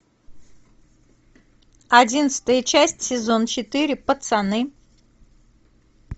одиннадцатая часть сезон четыре пацаны